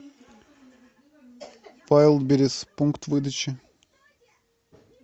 вайлдберриз пункт выдачи